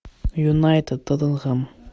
юнайтед тоттенхэм